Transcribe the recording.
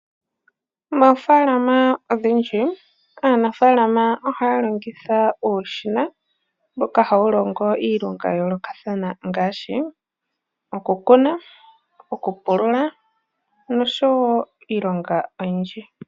Moofaalama odhindji aanafaalama ohaya longitha uushina mboka hawu longo iilonga ya yoolokathana ngaashi okukuna, okupulula nosho woo iilonga oyindji.